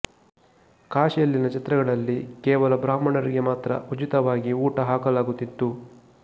ಕಾಶಿಯಲ್ಲಿನ ಛತ್ರಗಳಲ್ಲಿ ಕೇವಲ ಬ್ರಾಹ್ಮಣರಿಗೆ ಮಾತ್ರ ಉಚಿತವಾಗಿ ಊಟ ಹಾಕಲಾಗುತ್ತಿತ್ತು